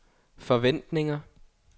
forventninger